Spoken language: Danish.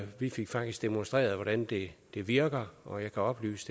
vi fik faktisk demonstreret hvordan det det virker og jeg kan oplyse